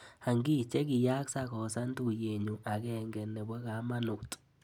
Ang'i chekiyaak sakosan tuiyenyu agenge nebo kamanut.